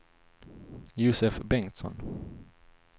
Josef Bengtsson